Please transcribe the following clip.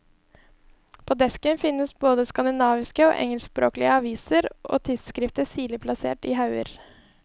På desken finnes både skandinaviske og engelskspråklige aviser og tidsskrifter sirlig plassert i hauger.